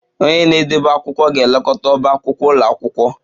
Onye na-edebe akwụkwọ ga-elekọta ọbá akwụkwọ ụlọ akwụkwọ